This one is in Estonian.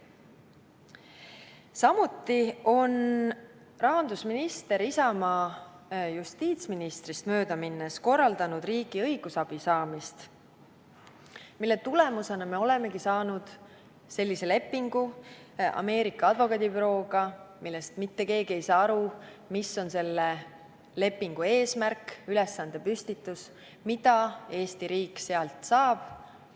Samuti on rahandusminister Isamaa justiitsministrist mööda minnes korraldanud riigi õigusabi saamist, mille tulemusena ongi sõlmitud Ameerika advokaadibürooga selline leping, mille puhul mitte keegi ei saa aru, mis on selle lepingu eesmärk ja ülesandepüstitus ning mida Eesti riik sellest saab.